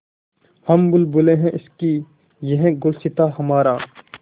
हम बुलबुलें हैं इसकी यह गुलसिताँ हमारा